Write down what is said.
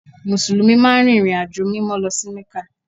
Mùsùlùmí máa ń rìnrìnàjò Mímọ́ lọ sí Mẹ́kà